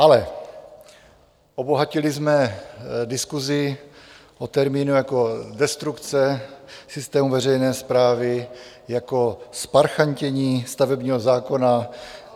Ale obohatili jsme diskusi o termíny jako destrukce systému veřejné správy, jako zparchantění stavebního zákona.